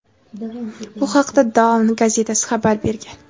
Bu haqda "Dawn" gazetasi xabar bergan.